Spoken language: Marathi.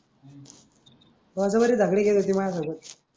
वाजावरी झगडे केले होते माया सोबत.